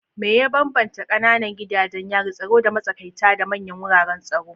Me ya bambanta kananan gidajen yarin tsaro da matsakaita da manyan wuraren tsaro?